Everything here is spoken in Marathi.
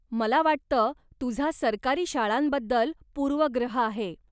मला वाटतं तुझा सरकारी शाळांबद्दल पूर्वग्रह आहे.